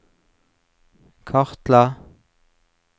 kartla